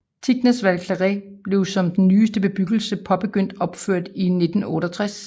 Tignes Val Claret blev som den nyeste bebyggelse påbegyndt opført i 1968